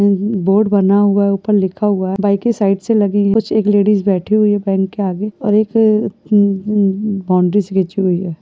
Board बना हुआ है। ऊपर लिखा हुआ है। बाइके साइड से लगी है। कुछ एक लेडिज बैठी हुई है बैंक के आगे और एक क कु कु बॉउंड्री सी बिछी हुई है।